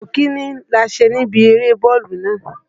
Ipò kìíní la ṣe níbi eré bọ́ọ̀lù nàá.